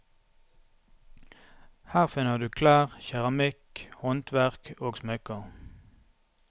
Her finner du klær, keramikk, håndverk og smykker.